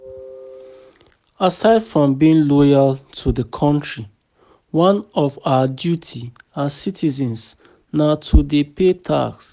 Aside from being loyal to di country, one of our duty as citizens na to dey pay tax